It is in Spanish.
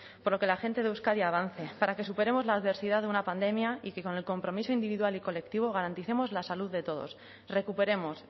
para que la gente de euskadi avance para que superemos la adversidad de una pandemia y que con el compromiso individual y colectivo garanticemos la salud de todos recuperemos